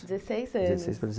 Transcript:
dezesseis anos. Dezesseis para